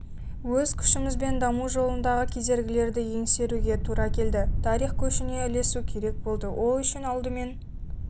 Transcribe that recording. өз күшімізбен даму жолындағы кедергілерді еңсеруге тура келді тарих көшіне ілесу керек болды ол үшін алдымен